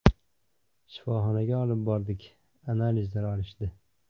Shifoxonaga olib bordik, analizlar olishdi.